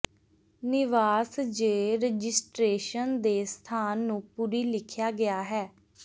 ਨਿਵਾਸ ਜ ਰਜਿਸਟਰੇਸ਼ਨ ਦੇ ਸਥਾਨ ਨੂੰ ਪੂਰੀ ਲਿਖਿਆ ਗਿਆ ਹੈ